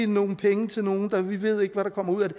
nogle penge til nogle og vi ved ikke hvad der kommer ud af det